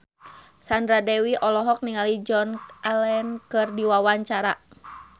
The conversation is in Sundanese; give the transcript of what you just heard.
Sandra Dewi olohok ningali Joan Allen keur diwawancara